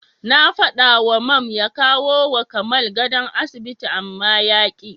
Na faɗawa Mam ya kawowa Kamal gadon asibiti amma yaƙi.